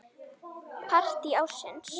Partí ársins?